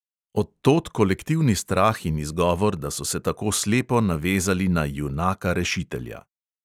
Od tod kolektivni strah in izgovor, da so se tako slepo navezali na "junaka rešitelja".